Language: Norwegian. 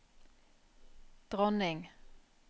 dronning